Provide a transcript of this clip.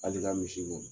Hali i ka misi bɔ